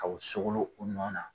Kaw sogolon u nɔ na